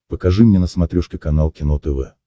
покажи мне на смотрешке канал кино тв